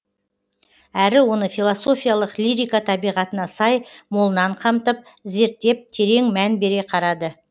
әрі оны философиялық лирика табиғатына сай молынан қамтып зерттеп терең мән бере қарады